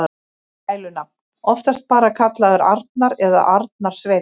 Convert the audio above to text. Gælunafn: Oftast bara kallaður Arnar eða Arnar Sveinn.